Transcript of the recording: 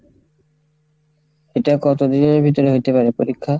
ওটা কতদিনের ভিতরে হইতে পারে পরীক্ষা?